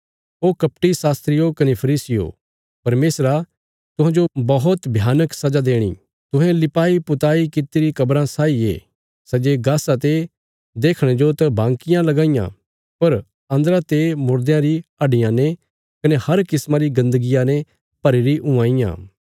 ओ कपटी शास्त्रियो कने फरीसियो परमेशरा तुहांजो बौहत भयानक सजा देणी तुहें लिपाईपुताई कित्तिरी कब्राँ साई ये सै जे गासा ते देखणे जो त बांकियां लगां इयां पर अन्दरा ते मुर्देयां री हड्डियां ने कने हर किस्मा री गन्दगिया ने भरीरी हुआं इयां